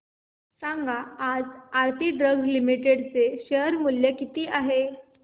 सांगा आज Aarti Drugs Limited चे शेअर मूल्य किती आहे